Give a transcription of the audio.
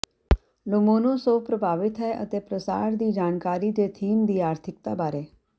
Lomonosov ਪ੍ਰਭਾਵਿਤ ਹੈ ਅਤੇ ਪ੍ਰਸਾਰ ਦੀ ਜਾਣਕਾਰੀ ਦੇ ਥੀਮ ਦੀ ਆਰਥਿਕਤਾ ਬਾਰੇ